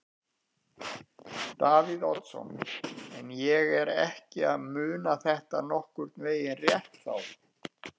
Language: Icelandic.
Davíð Oddsson: En er ég ekki að muna þetta nokkurn veginn rétt þá?